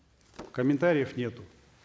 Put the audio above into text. комментариев нету